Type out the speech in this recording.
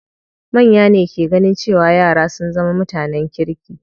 Manya ne ke ganin cewa yara sun zama mutanen kirki.